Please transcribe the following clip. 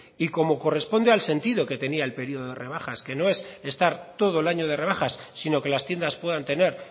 y como corresponde al sentido que tenía el periodo de rebajas que no es estar todo el año de rebajas sino que las tiendas puedan tener